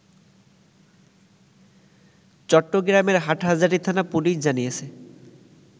চট্টগ্রামের হাটহাজারি থানা পুলিশ জানিয়েছে